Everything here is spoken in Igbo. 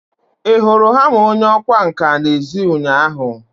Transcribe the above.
Ị hụrụ hama onye ọkwá nkà n'èzí ụnyaahụ?